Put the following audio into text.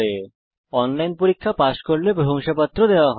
যারা অনলাইন পরীক্ষা পাস করে তাদের প্রশংসাপত্র দেয়